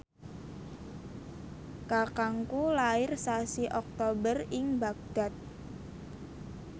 kakangku lair sasi Oktober ing Baghdad